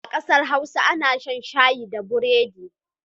A ƙasar Hausa ana shan shayi da burodi.